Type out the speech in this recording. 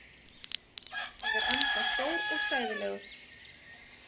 Ég er enda stór og stæðilegur.